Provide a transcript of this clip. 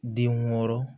Den wɔɔrɔ